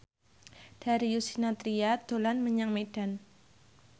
Darius Sinathrya dolan menyang Medan